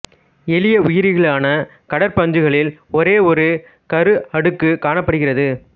எளிய உயிாிகளான கடற் பஞ்சுகளில் ஒரே ஒரு கரு அடுக்கு காணப்படுகிறது